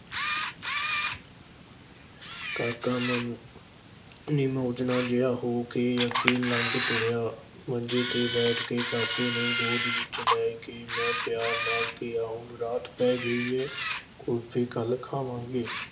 ਕਾਕਾ ਮਨ ਨਿਮੋਝੂਣਾ ਜਿਹਾ ਹੋ ਕੇ ਅੱਗੇ ਲੱਗ ਤੁਰਿਆ, ਮੰਜੇ ਤੇ ਬੈਠ ਕੇ ਕਾਕੇ ਨੂੰ ਗੋਦ ਵਿਚ ਲੈ ਕੇ ਮੈਂ ਪਿਆਰ ਨਾਲ ਕਿਹਾ, ਹੁਣ ਰਾਤ ਪੈ ਗਈ ਏ ਕੁਲਫ਼ੀ ਕੱਲ੍ਹ ਖਾਵਾਂਗੇ।